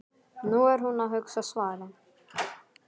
Nú er hún að hugsa svarið.